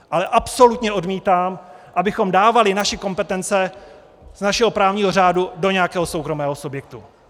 Ale absolutně odmítám, abychom dávali naše kompetence z našeho právního řádu do nějakého soukromého subjektu.